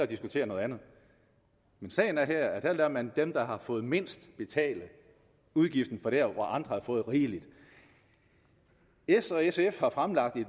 diskutere noget andet men sagen er at her lader man dem der har fået mindst betale udgiften der hvor andre har fået rigeligt s og sf har fremlagt et